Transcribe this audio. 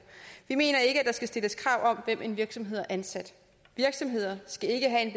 vi mener ikke der skal stilles krav om hvem en virksomhed har ansat virksomheder skal ikke have en